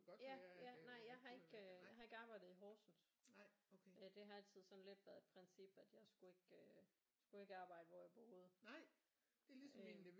Ja ja nej jeg har ikke øh jeg har ikke arbejdet i Horsens øh det har altid sådan lidt været et princip at jeg skulle ikke øh jeg skulle ikke arbejde hvor jeg boede øh